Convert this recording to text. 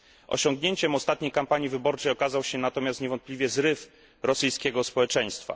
Osiągnięciem ostatniej kampanii wyborczej okazał się natomiast niewątpliwie zryw rosyjskiego społeczeństwa